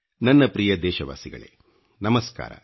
ನನ್ನ ಪ್ರಿಯ ದೇಶವಾಸಿಗಳೇ ನಮಸ್ಕಾರ